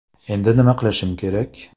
Endi nima qilishim kerak?